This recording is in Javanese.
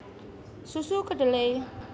Susu Kedelai